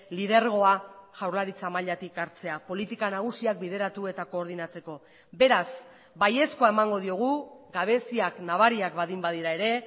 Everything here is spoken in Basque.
lidergoa jaurlaritza mailatik hartzea politika nagusiak bideratu eta koordinatzeko beraz baiezkoa emango diogu gabeziak nabariak baldin badira ere